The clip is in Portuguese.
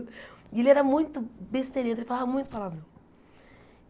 E ele era muito besteirento, ele falava muito palavrão.